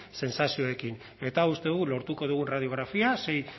sentsazioekin eta uste dugu lortuko dugun radiografia sei